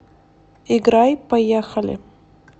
играй поехали